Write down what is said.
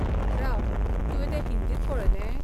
राव, तुवें तें हिंदींत पळयलें?